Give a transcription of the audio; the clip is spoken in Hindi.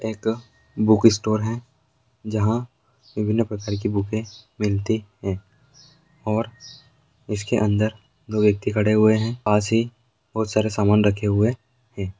एक बुक स्टोर है जहाँ विभिन्न प्रकार की बूके मिलती है और इसके अंदर दो व्यति खड़े हुए हैं पास ही बहोत सारे सामान रखे हुए हैं।